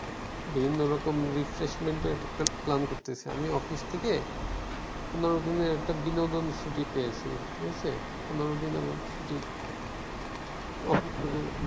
বিভিন্ন রকম Replacement একটা plan করতেছি আমি অফিস থেকে পনের দিনের একটা বিনোদন ছুটি পেয়েছি ঠিক আছে, পনের দিন আমার ছুটি